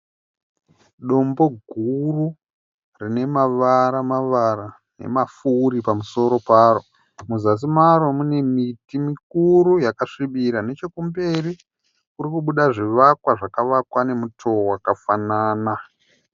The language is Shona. Dombo guru rine mavara mavara nemafuri pamusoro paro, muzasi maro mune miti mukuru yakasvibira, nechekumberi kurikubuda zvivakwa zvakavakwa nemutowo wakafanana.